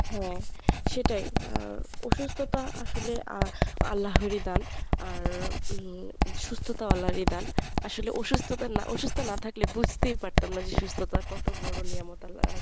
হ্যাঁ সেটাই। আর অসুস্থতা আসলে আহ আল্লাহরই দান আর উম সুস্থতাও আল্লারই দান। আসলে অসুস্থতা না অসুস্থ না থাকলে বুঝতেই পারতাম না যে সুস্থতা কত বড় নেয়ামত আল্লার